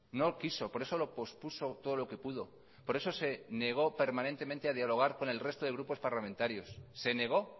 no quiso por eso lo pospuso todo lo que pudo por eso se negó permanentemente a dialogar con el resto de grupos parlamentarios se negó